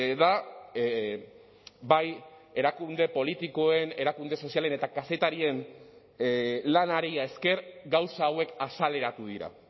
da bai erakunde politikoen erakunde sozialen eta kazetarien lanari esker gauza hauek azaleratu dira